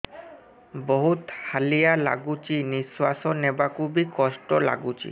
ବହୁତ୍ ହାଲିଆ ଲାଗୁଚି ନିଃଶ୍ବାସ ନେବାକୁ ଵି କଷ୍ଟ ଲାଗୁଚି